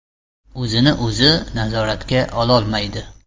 O‘zini-o‘zi nazoratga ololmaydi.